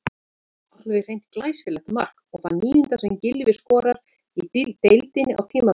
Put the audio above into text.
Alveg hreint glæsilegt mark og það níunda sem Gylfi skorar í deildinni á tímabilinu.